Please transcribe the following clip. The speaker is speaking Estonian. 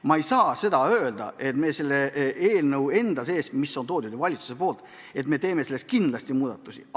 Ma ei saa öelda, et me eelnõus, mis on ju valitsusest tulnud, kindlasti muudatusi teeme.